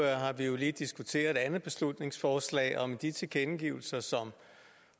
har vi jo lige diskuteret et andet beslutningsforslag om de tilkendegivelser som